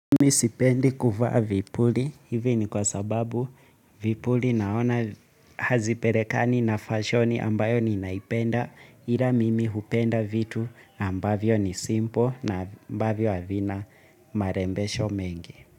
Mimi sipendi kuvaa vipuli, hivi ni kwa sababu vipuli naona hazipelekani na fashoni ambayo ninaipenda ila mimi upenda vitu ambavyo ni simpo na ambavyo havina marembesho mengi.